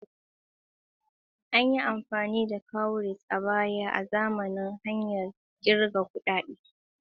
An yi amfani da cowries a baya azaman hanyar kirgawa da kuɗi.